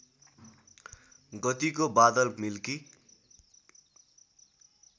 गतिको बादल मिल्की